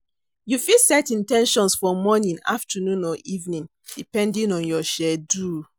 You fit set in ten tions for morning, afternoon or evening, depending on your schedule.